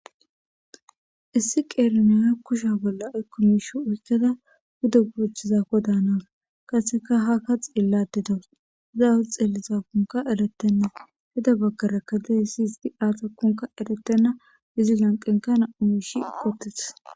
Issi qeri Naya kushiya bolla ayko mishe oykada pude gochiza malawus qaseka haka xelade dawus pizza awa xelizakonka eretena pude bagara dizays azikonka eretena izzi lanqenka eqe uttides.